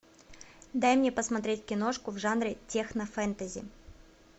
дай мне посмотреть киношку в жанре технофэнтези